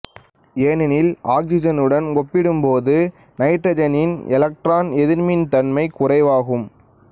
ஏனெனில் ஆக்சிசனுடன் ஒப்பிடும்போது நைட்ரசனின் எலக்ட்ரான் எதிர்மின் தன்மை குறைவாகும்